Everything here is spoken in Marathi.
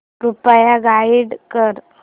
कृपया गाईड कर